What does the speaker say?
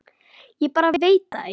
Ég bara veit það ekki.